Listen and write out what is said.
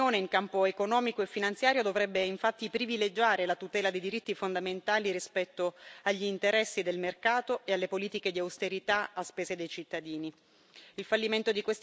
L'azione politica dell'Unione in campo economico e finanziario dovrebbe infatti privilegiare la tutela dei diritti fondamentali rispetto agli interessi del mercato e alle politiche di austerità, a spese dei cittadini.